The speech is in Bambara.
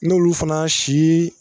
N'olu fana si